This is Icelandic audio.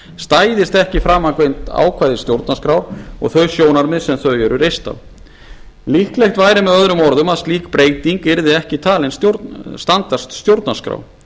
stæðist ekki framangreind ákvæði stjórnarskrár og þau sjónarmið sem þau eru reist á líklegt væri með öðrum orðum að slík breyting yrði ekki talin standast stjórnarskrá á